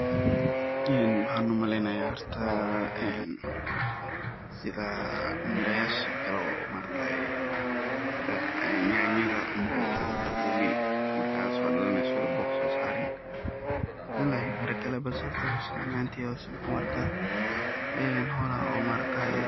Waxan u maleynaya horta maaragtaye sidha mirayashe kalee ee yanyada marka so dhalaneso oo boq sosarin ,ani ahanteyda waxan u arka ini howlaha ay